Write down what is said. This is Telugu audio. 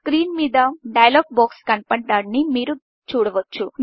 స్క్రీన్ మీద డైలాగ్ బాక్స్ కనపడటాన్ని మీరు చూడవచ్చు